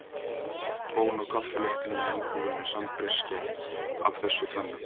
Bón og kaffi lyktin í íbúðinni sambreyskja af þessu tvennu.